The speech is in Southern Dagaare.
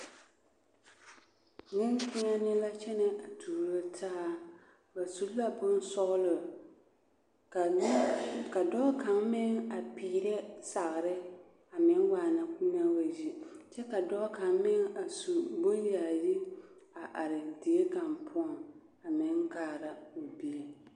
Neŋkpeɛne la kyɛnɛ a tuuro taa ba su la bonsɔgelɔ ka dɔɔ kaŋ meŋ a peerɛ sagere a meŋ waana k'o naa wa yi kyɛ ka dɔɔ kaŋ meŋ a su boŋyaayi a are die kaŋ poɔŋ a meŋ kaara o bie.